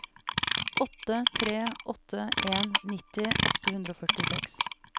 åtte tre åtte en nitti åtte hundre og førtiseks